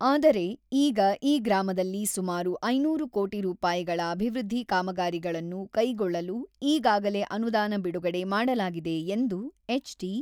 ಆದರೆ, ಈಗ ಈ ಗ್ರಾಮದಲ್ಲಿ ಸುಮಾರು ಐನೂರು ಕೋಟಿ ರೂಪಾಯಿಗಳ ಅಭಿವೃದ್ಧಿ ಕಾಮಗಾರಿಗಳನ್ನು ಕೈಗೊಳ್ಳಲು ಈಗಾಗಲೇ ಅನುದಾನ ಬಿಡುಗಡೆ ಮಾಡಲಾಗಿದೆ ಎಂದು ಎಚ್.ಡಿ.